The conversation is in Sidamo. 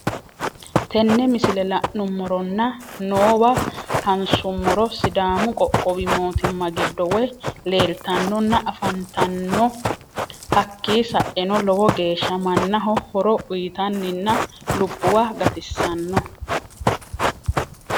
Tenne misile lanu'mmoronna nowaa hassumorro sidaamu qoqqowi mootima giddo woy lelittanonna affanittano hakki sa'enoo lowo geshsha mannaho horro uyittaninna lubbuwa gatissanoo